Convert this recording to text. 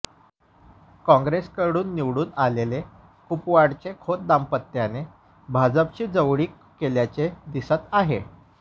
काँग्रेसकडून निवडूण आलेले कुपवाडचे खोत दांपत्याने भाजपाशी जवळीक केल्याचे दिसत आहे